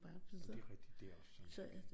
Jamen det er rigtigt det er også så mærkeligt